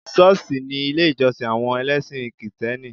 Ṣọ́ọ̀ṣì ni ilé ìjọ́sìn àwọn ẹlẹ́sìn kìtẹ́nì